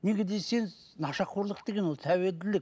неге десеңіз нашақорлық деген ол тәуелділік